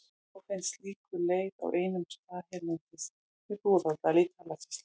Þó finnst slíkur leir á einum stað hérlendis, við Búðardal í Dalasýslu.